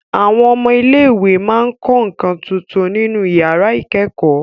Àwọn ọmọ ilé ìwé máa ń kọ́ nǹkan tuntun nínú iyàrá ìkẹ́kọ̀ọ́